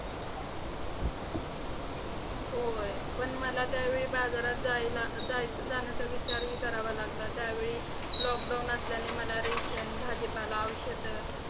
होय. पण मला त्यावेळी बाजारात जायला जाय जाण्याचा विचारही करावा लागला. त्यावेळी lockdown असल्याने मला ration भाजीपाला, औषधे